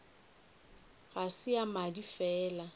ga se ya madi fela